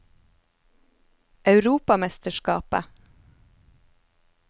europamesterskapet